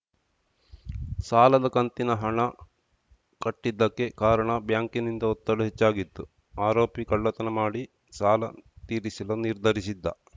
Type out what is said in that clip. ಸಾಲದ ಕಂತಿನ ಹಣ ಕಟ್ಟಿದ್ದಕ್ಕೆ ಕಾರಣ ಬ್ಯಾಂಕ್‌ನಿಂದ ಒತ್ತಡ ಹೆಚ್ಚಾಗಿತ್ತು ಆರೋಪಿ ಕಳ್ಳತನ ಮಾಡಿ ಸಾಲ ತೀರಿಸಲು ನಿರ್ಧರಿಸಿದ್ದ